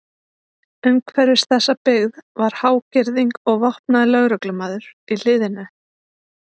Umhverfis þessa byggð var há girðing og vopnaður lögreglumaður í hliðinu.